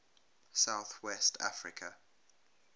south west africa